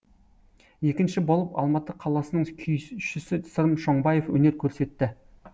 екінші болып алматы қаласының күйшісі сырым шоңбаев өнер көрсетті